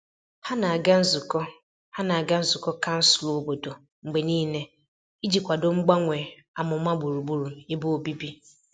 Ha na-aga nzukọ Ha na-aga nzukọ kansụl obodo mgbe niile iji kwado mgbanwe amụma gburugburu ebe obibi.